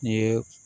I ye